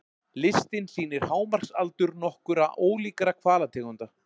Listinn sýnir hámarksaldur nokkurra ólíkra hvalategunda.